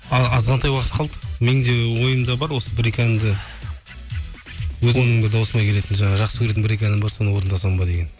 азғантай уақыт қалды мен де ойымда бар осы бір екі әнді өзімнің дауысыма келетін жаңағы жақсы көретін бір екі әнім бар соны орындасам ба деген